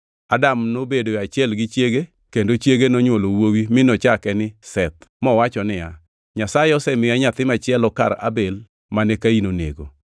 Adam nobedoe achiel gi chiege, kendo chiege nonywolo wuowi mi nochake ni Seth, mowacho niya, “Nyasaye osemiya nyathi machielo kar Abel mane Kain onego.”